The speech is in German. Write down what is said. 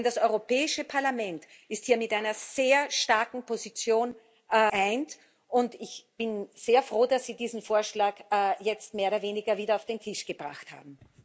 Denn das Europäische Parlament ist hier mit einer sehr starken Position geeint, und ich bin sehr froh, dass Sie diesen Vorschlag jetzt mehr oder weniger wieder auf den Tisch gebracht haben.